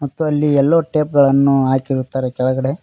ಮತ್ತು ಅಲ್ಲಿ ಎಲ್ಲೋ ಟೇಪ್ ಗಳನ್ನು ಹಾಕಿರುತ್ತಾರೆ ಕೆಳಗಡೆ.